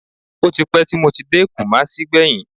Ó ti pẹ́ tí mo ti dé Kùmásí gbẹ̀yìn